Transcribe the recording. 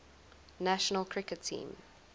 national cricket team